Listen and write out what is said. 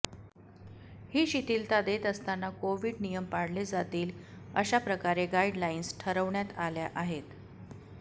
ही शिथीलता देत असताना कोविड नियम पाळले जातील अशाप्रकारे गाइडलाइन्स ठरवण्यात आल्या आहेत